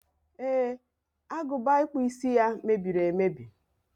e, agụba ịkpụ isi ya mebiri emebi.